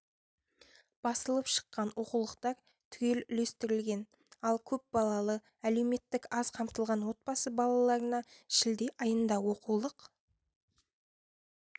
басылып шыққан оқулықтар түгел үлестірілген ал көпбалалы әлеуметтік аз қамтылған отбасы балаларына шілде айында оқулық